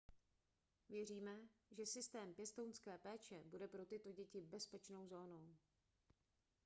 věříme že systém pěstounské péče bude pro tyto děti bezpečnou zónou